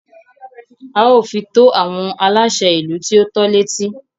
A ó fi tó àwọn aláṣẹ ìlú tí o tọ́ l'étí.